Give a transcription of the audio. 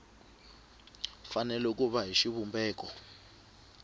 fanele ku va hi xivumbeko